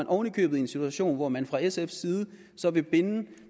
oven i købet i en situation hvor man fra sfs side vil binde